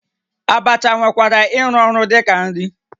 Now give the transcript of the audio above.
Abacha nwekwara ịrụ ọrụ dị ka nri